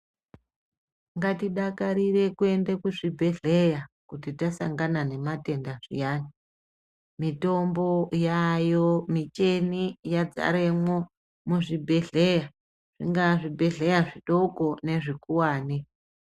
Ngatidakarire kuende kuzvibhedhleya kuti tasangana nematenda zviyani. Mitombo yayo micheni yadzaremwo muzvibhedhleya zvingaa zvibhedhleya zvidoko nezvikuvani.